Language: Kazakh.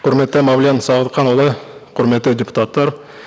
құрметті мәулен сағатханұлы құрметті депутаттар